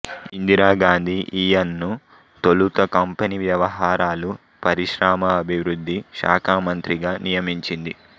ఇందిరా గాంధీ ఈయన్ను తొలుత కంపెనీ వ్యవహారాలు పరిశ్రమాభివృద్ధి శాఖామంత్రిగా నియమించింది